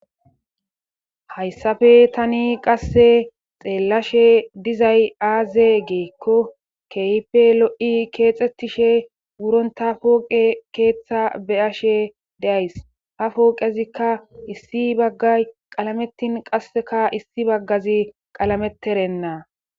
hayssafe tani qasse xeellashe dizay aaze geekko keype lo7i keexxetishe wuronta pooqe keeththa beyashe deays ha pooqezikka issi bagga qalametin qasseka issi baggazi qalameterenna